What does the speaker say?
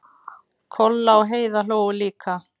Kolla og Heiða hlógu líka.